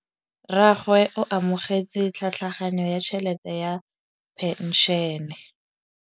Rragwe o amogetse tlhatlhaganyô ya tšhelête ya phenšene.